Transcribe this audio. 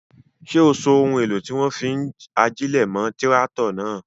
Ṣé o so ohun èlò tí wọ́n fi ń ajílẹ̀ mọ́ tíráátọ̀ náà?